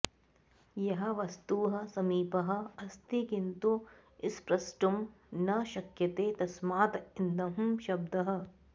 यः वस्तुः समीपः अस्ति किन्तु स्प्रष्टुं न शक्यते तस्मात् इदं शब्दः